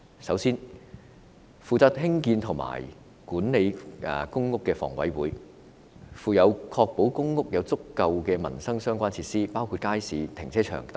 首先，負責興建和管理公屋的香港房屋委員會有責任確保公屋有足夠的民生設施，包括街市、停車場等。